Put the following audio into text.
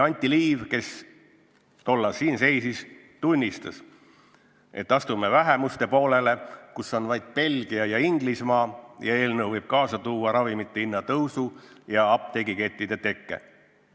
Anti Liiv, kes tollal siin seisis, tunnistas, et astume vähemuste ritta, kus on vaid Belgia ja Inglismaa, ning et eelnõu võib kaasa tuua ravimite kallinemise ja apteegikettide tekke.